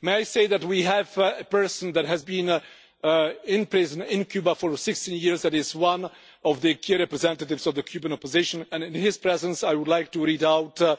May I say that we have a person that has been in prison in Cuba for 16 years that is one of the key representatives of the Cuban opposition, and in his presence I would like to read out a